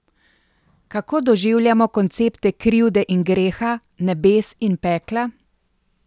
Kako doživljamo koncepte krivde in greha, nebes in pekla?